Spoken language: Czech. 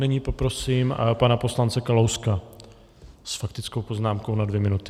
Nyní poprosím pana poslance Kalouska s faktickou poznámkou na dvě minuty.